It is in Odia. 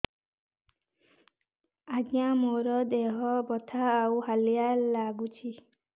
ଆଜ୍ଞା ମୋର ଦେହ ବଥା ଆଉ ହାଲିଆ ଲାଗୁଚି